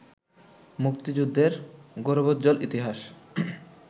মুক্তিযুদ্ধের গৌরবোজ্জ্বল ইতিহাস